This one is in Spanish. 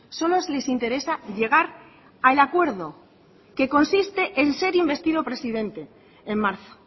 solo les interesa llegar al acuerdo que consiste en ser investido presidente en marzo